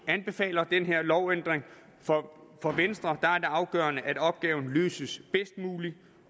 anbefaler den her lovændring for for venstre er det afgørende at opgaven løses bedst muligt